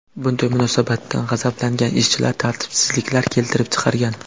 Bunday munosabatdan g‘azablangan ishchilar tartibsizliklar keltirib chiqargan.